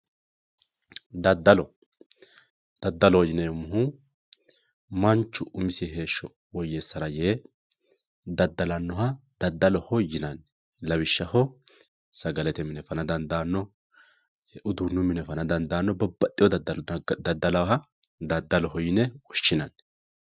Daddalo, daddaloho yineemmohu manchu umisi heeshsho woyyeessara yee daddalanoha daddaloho yinanni, lawishshaho sagalete mine fana dandaano uduunu mine fana dandaano babbaxewo daddalo dadda'laha daddaloho yine woshshinanni.